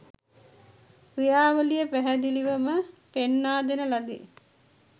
ක්‍රියාවලිය පැහැදිලිවම පෙන්වා දෙන ලදී